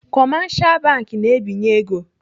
Kọmashal bank na-ebinye ego.